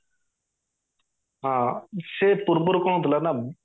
ହଁ ସେ ପୂର୍ବରୁ କଣ ହୋଉଥିଲା ନା